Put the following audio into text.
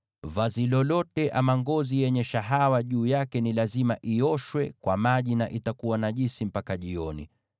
Vazi lolote ama ngozi yoyote yenye shahawa juu yake ni lazima ioshwe kwa maji, na itakuwa najisi mpaka jioni.